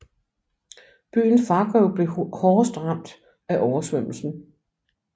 Byen Fargo blev hårdest ramt af oversvømmelsen